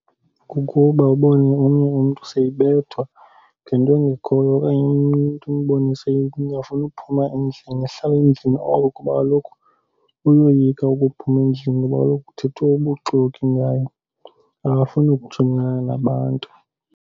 Kukuba ubone omnye umntu seyibethwa ngento engekhoyo okanye umntu umbone seyingafuni ukuphuma endlini. Ahlale endlini oko kuba kaloku uyoyika ukuphuma endlini ngoba kaloku kuthethwa ubuxoki ngayo. Akafuni kujongana nabantu.